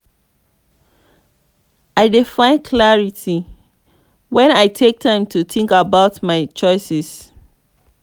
i dey find clarity when i take time to think about my choices.